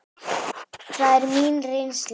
Það er mín reynsla.